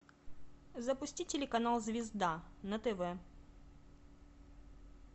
запусти телеканал звезда на тв